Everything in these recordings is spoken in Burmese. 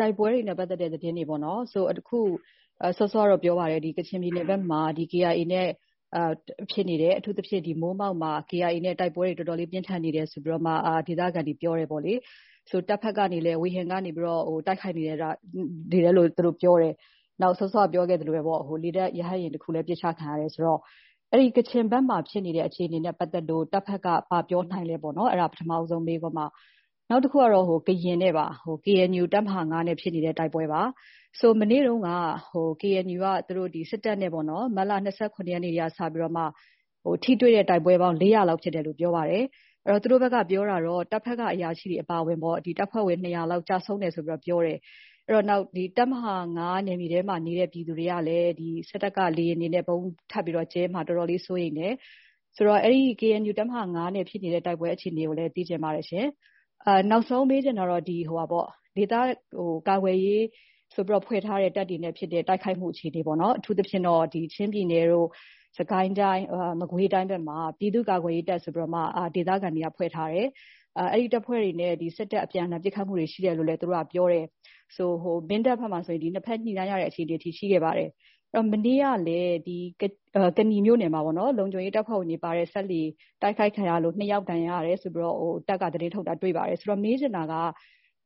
တိုက်ပွဲတွေနဲ့ပတ်သက်တဲ့မေးခွန်းကို မေးချင်ပါတယ်။ စောစောကတော့ ပြောပါတယ်၊ ကချင်ပြည်နယ်ဘက်မှာ KIA နဲ့ ဖြစ်နေတယ်။ အထူးသဖြင့် မိုးမောက်မှာ KIA နဲ့ တိုက်ပွဲတွေ တော်တော်လေး ပြင်းထန်နေတယ်ဆိုပြီးတော့မှ ဒေသခံတွေက ပြောပါတယ်။ တပ်ဘက်ကနေလဲ ဝေဟင်ကနေပြီးတော့ တိုက်ခိုက်နေတယ်လို့ သူတို့ ပြောတယ်။ နောက် စောစောက ပြောခဲ့သလိုဘဲပေါ့၊ လေတပ်ရဟတ်ယာဉ်တစင်းလဲ ပစ်ချခံခဲ့ရတယ်ဆိုတော့ အဲဒီ ကချင်ဘက်ဖြစ်နေတဲ့ အခြေအနေနဲ့ပတ်သက်လို့ တပ်ဘက်က ဘာပြောနိုင်သလဲပေါ့နော်။ အဲဒါက ပထမဦးဆုံး မေးခွန်းပါ။ နောက်တခုကတော့ ကရင်နဲ့ပါ။ KNU တပ်မဟာ နဲ့ ဖြစ်နေတဲ့ တိုက်ပွဲပါ။ မနေ့တုန်းက KNUက စစ်တပ်နဲ့ မတ်လ ၂၇ ရက်နေ့ကတည်းက စတင်ပြီး ထိတွေ့တဲ့တိုက်ပွဲပေါင်း ၄၀၀ လောက် ဖြစ်တယ်လို့ ပြောပါတယ်။ သူတို့ဘက်က ပြောတာတော့ တပ်ဘက်က အရာရှိတွေအပါအဝင် တပ်ဖွဲ့ဝင် ၂၀၀ လောက် ကျဆုံးတယ်ဆိုပြီးတော့ ပြောပါတယ်။ နောက် တပ်မဟာ နယ်မြေထဲမှာနေတဲ့ ပြည်သူတွေကလည်း စစ်တပ်က လေယာဉ်တွေနဲ့ ဗုံးထပ်ကျဲမှာ တော်တော်လေး စိုးရိမ်တယ်။ အဲဒီ KNU တပ်မဟာ နဲ့ ဖြစ်နေတဲ့ တိုက်ပွဲအခြေအနေကိုလည်း သိချင်ပါတယ်။ နောက်ဆုံးမေးချင်တာကတော့ ဒေသကာကွယ်ရေးဆိုပြီးတော့ ဖွဲ့ထားတဲ့ တပ်တွေနဲ့ဖြစ်တဲ့ တိုက်ခိုက်မှုအခြေအနေပါ။ အထူးသဖြင့်တော့ ချင်းပြည်နယ်တို့၊ စစ်ကိုင်းတိုင်း၊ မကွေးတိုင်းဘက်မှာ ပြည်သူ့ကာကွယ်ရေးတပ်ဆိုပြီးတော့မှ ဒေသခံတွေက ဖွဲ့ထားတယ်။ အဲ့ဒီတပ်ဖွဲ့တွေနဲ့စစ်တပ် အပြန်အလှန် ပစ်ခတ်မှုတွေရှိတယ်လို့လည်း သူတို့က ပြောပါတယ်။ မင်းတပ်ဘက်မှာဆိုရင် နှစ်ဘက် ညှိနှိုင်းရတဲ့အခြေအနေတွေအထိ ရှိခဲ့ပါတယ်။ မနေ့ကလည်း ကနီမြို့နယ်မှာ လုံခြုံရေးတပ်ဖွဲ့ဝင်တွေပါတဲ့ စက်လှေ တိုက်ခိုက်ခံရလို့ ၂ ယောက် ဒဏ်ရာရတယ်ဆိုပြီးတော့ စစ်တပ်က သတင်းထုတ်တာ တွေ့ပါတယ်။ ဆိုတော့ - မေးချင်တာက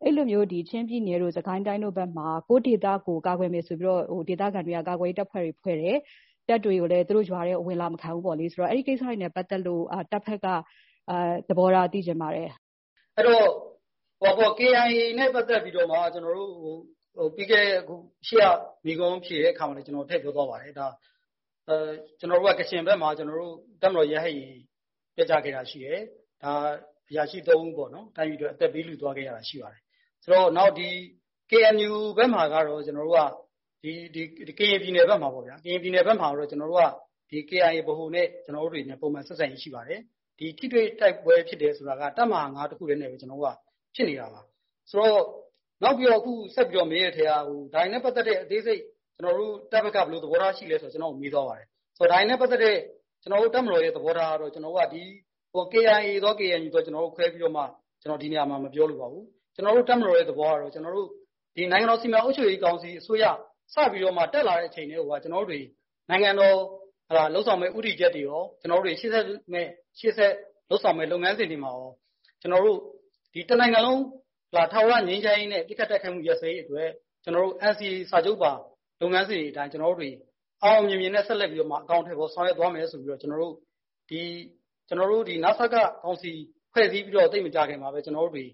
အဲ့လိုမျိုး ချင်းပြည်နယ်တို့၊ စစ်ကိုင်းတိုင်းတို့ဘက်မှာ ကိုယ့်ဒေသကိုယ် ကာကွယ်မယ်ဆိုပြီးတော့ ဒေသခံတွေက ကာကွယ်ရေးတပ်ဖွဲ့တွေ ဖွဲ့တယ်။ တပ်တွေကိုလည်း သူတို့ရွာတွေထဲကို ဝင်အလာမခံဘူးပေါ့။ အဲဒီကိစ္စတွေနဲ့ပတ်သက်လို့ တပ်ဘက်က သဘောထား သိချင်ပါတယ်။ အဲဒီတော့ KIA နဲ့ပတ်သက်ပြီးတော့မှ ရှေ့က မေးခွန်းဖြေတဲ့အခါမှာလည်း ကျနော် ထည့်ပြောသွားပါတယ်။ ကချင်ဘက်မှာ ကျနော်တို့ တပ်မတော် ရဟတ်ယာဉ် ပျက်ကျခဲ့တာရှိတယ်။ အရာရှိ ၃ ဦးပေါ့နော်၊ တိုင်းပြည်အတွက် အသက်ပေးလှုသွားခဲ့ရတာ ရှိပါတယ်။ နောက် KNU ဘက်မှာကတော့ ကျနော်တို့က၊ ဒီ ကရင်ပြည်နယ်ဘက်မှာပေါ့ဗျာ၊ ကရင်ပြည်နယ်ဘက်မှာကတော့ KNU ဗဟိုနဲ့ ကျနော်တို့က ပုံမှန် ဆက်ဆံရေးရှိပါတယ်။ ဒီ ထိတွေ့ တိုက်ပွဲဖြစ်တယ်ဆိုတာက တပ်မဟာ တခုထဲနဲ့ဘဲ ကျနော်တို့က ဖြစ်နေတာပါ။ နောက်ပြီးတော့ မေးတဲ့အထဲက ဒါတွေနဲ့ပတ်သက်ပြီးတော့ အသေးစိတ် စစ်တပ်ဘက်က ဘယ်လိုသဘောထားရှိသလဲဆိုပြီးတော့ ကျနော့်ကို မေးသွားပါတယ်။ ဒါတွေနဲ့ပတ်သက်တဲ့ ကျနော်တို့ တပ်မတော်ရဲ့ သဘောထားကတော့ KIA သော၊ KNU သော ကျနော်တို့ ခွဲခြားပြီးတော့မှ ကျနော် ဒီနေရာမှာ မပြောလိုပါဘူး။ ကျနော်တို့ တပ်မတော်ရဲ့သဘောကတော့ ဒီ နိုင်ငံတော်စီမံအုပ်ချုပ်ရေးကောင်စီအစိုးရ စပြီးတော့မှ တက်လာတဲ့အချိန်ကတည်းကိုက ကျနော်တို့တတွေ နိုင်ငံတော်ကို လုပ်ဆောင်မယ့် ဦးတည်ချက်တွေရော၊ ကျနော်တို့တတွေ ရှေ့ဆက်လုပ်ဆောင်မယ့် လုပ်ငန်းစဉ်တွေမှာရော ကျနော်တို့ ဒီ တနိုင်ငံလုံး ထာဝရငြိမ်းချမ်းရေးနဲ့ ပစ်ခတ်တိုက်ခိုက်မှုရပ်စဲရေးအတွက် ကျနော်တို့ NCA စာချုပ်ပါ လုပ်ငန်းစဉ်တွေအတိုင်း ကျနော်တို့တွေ အောင်အောင်မြင်မြင်နဲ့ ဆက်လက်ပြီးတော့မှ ဆောင်ရွက်သွားမယ်ဆိုပြီးတော့ ကျနော်တို့ ဒီ နစကကောင်စီ ဖွဲ့စည်းပြီးတော့ သိပ်မကြာခင်မှာဘဲ ကျနော်တို့တတွေ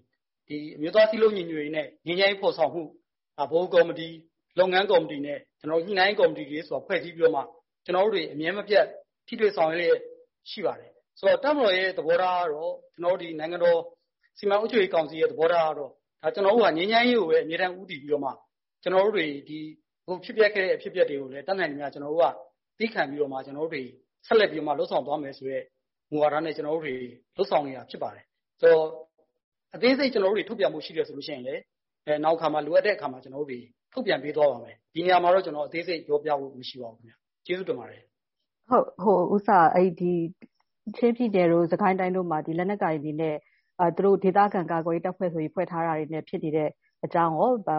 အမျိုးသားစည်းလုံးညီညွတ်ရေးနဲ့ ငြိမ်းချမ်းရေးဖော်ဆောင်မှု ဗဟိုကော်မီတီ၊ လုပ်ငန်းကော်မီတီနဲ့ ညှိနှိုင်းရေးကော်မီတီတွေဆိုပြီး ဖွဲ့စည်းပြီးတော့မှ ကျနော်တို့တတွေ အမြဲမပြတ် ထိတွေ့ ဆောင်ရွက်လျှက်ရှိပါတယ်။ ဆိုတော့တပ်မတော်ရဲ့သဘောထား၊ နိုင်ငံတော်စီမံအုပ်ချုပ်ရေးကောင်စီရဲ့ သဘောထားကတော့ ကျနော်တို့ဟာ ငြိမ်းချမ်းရေးကိုဘဲ အမြဲတမ်းဦးတည်ပြီးတော့မှ ဖြစ်ပျက်ခဲ့တဲ့ အဖြစ်အပျက်တွေကိုလည်း တတ်နိုင်သမျှ ကျနော်တို့က သည်းခံပြီးတော့မှ ကျနော်တို့တွေ ဆက်လက်ပြီးတော့မှ လုပ်ဆောင်သွားမယ်ဆိုတဲ့ မူဝါဒနဲ့ ကျနော်တို့တွေ လုပ်ဆောင်နေတာ ဖြစ်ပါတယ်။ အသေးစိတ်ထုတ်ပြန်ဖို့ရှိတယ်ဆိုလို့ရှိရင်လည်း နောင်အခါမှာ၊ လိုအပ်တဲ့အခါမှာ ကျနော်တို့ ထုတ်ပြန်ပေးသွားပါမယ်။ ဒီနေရာမှာတော့ ကျနော် အသေးစိတ် ပြောပြဖို့မရှိပါဘူး။ ကျေးဇူးတင်ပါတယ်။ ဟုတ်ကဲ့။ ချင်းပြည်နယ်နဲ့ စစ်ကိုင်းတိုင်းတို့မှာ လက်နက်ကိုင်တွေနဲ့ သူတို့ ဒေသခံကာကွယ်ရေးတပ်ဖွဲ့ဆိုပြီး ဖွဲ့ထားတာတွေနဲ့ ဖြစ်နေတဲ့အကြောင်းရော၊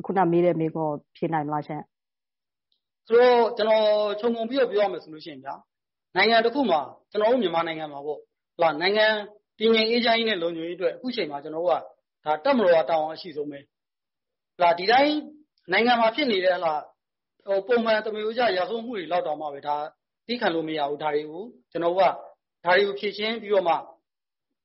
အခုနက မေးတဲ့မေးခွန်းကို ဖြေနိုင်မလားရှင့်။ ဆိုတော့၊ ကျနော် ခြုံငုံပြီးတော့ ပြောရမယ်ဆိုလို့ရှိရင်ဗျာ၊ နိုင်ငံတခုမှာ၊ ကျနော်တို့ မြန်မာနိုင်ငံမှာပေါ့၊ နိုင်ငံ တည်ငြိမ်အေးချမ်းရေးနဲ့ လုံခြုံရေးအတွက် အခုချိန်မှာ ကျနော်တို့က ဒါ တပ်မတော်မှာ တာဝန်အရှိဆုံးဘဲ။ ဒီအတိုင်း နိုင်ငံမှာဖြစ်နေတဲ့ ပုံမှန် သမားရိုးကျ ရာဇဝတ်မှုတွေလောက်တောင်မှဘဲ သည်းခံလို့မရဘူး။ ကျနော်တို့က ဒါတွေကို ဖြေရှင်းပြီးတော့မှ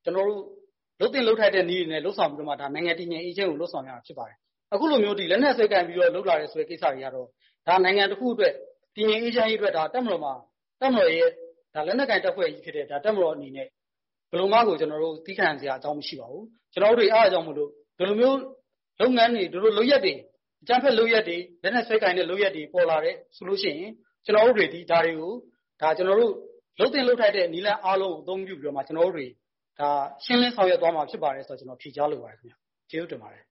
လုပ်သင့်လုပ်ထိုက်တဲ့နည်းတွေနဲ့ လုပ်ဆောင်ပြီးတော့မှ နိုင်ငံတည်ငြိမ်အေးချမ်းရေးကို လုပ်ဆောင်ရမှာ ဖြစ်ပါတယ်။ အခုလိုမျိုး လက်နက်စွဲကိုင်ပြီးတော့ လုပ်လာတယ်ဆိုတဲ့ကိစ္စတွေကတော့ ဒါဟာ နိုင်ငံတခုအတွက်၊ တည်ငြိမ်အေးချမ်းရေးအတွက် တပ်မတော်ရဲ့ လက်နက်ကိုင်တပ်ဖွဲ့ကြီးဖြစ်တဲ့ တပ်မတော်အနေနဲ့ ဘယ်လိုမှကို သည်းခံစရာ အကြောင်းမရှိပါဘူး။ ကျနော်တို့တွေ အဲဒါကြောင့်မို့လို့ ဒီလိုမျိုး လုပ်ငန်းတွေ၊ ဒီလို လုပ်ရပ်တွေ၊ အကြမ်းဖက်လုပ်ရပ်တွေ၊ လက်နက်စွဲကိုင်တဲ့ လုပ်ရပ်တွေ ပေါ်လာတယ်ဆိုလို့ရှိရင် ကျနော်တို့တွေသည် ဒါတွေကို လုပ်သင့် လုပ်ထိုက်တဲ့နည်းလမ်းအားလုံးကို အသုံးပြုပြီးတော့မှ ကျနော်တို့တွေ ရှင်းလင်း ဆောင်ရွက်သွားမှာဖြစ်ပါတယ်ဆိုတာကို ကျနော် ဖြေကြားလိုပါတယ်ခင်ဗျ။ ကျေးဇူးတင်ပါတယ်